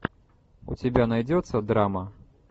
у тебя найдется драма